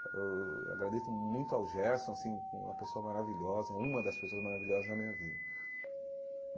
Eu agradeço muito ao Gerson, assim, uma pessoa maravilhosa, uma das pessoas maravilhosas da minha vida.